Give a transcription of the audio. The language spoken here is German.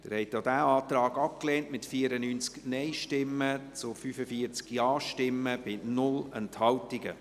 Sie haben auch diesen Antrag abgelehnt, mit 94 Nein- gegen 45 Ja-Stimmen bei 0 Enthaltungen.